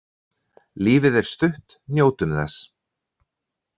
Lífið er stutt, njótum þess.